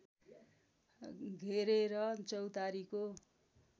घेरेर चौतारीको